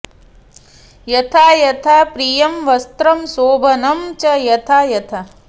यथा यथा प्रियं वस्त्रं शोभनं च यथा यथा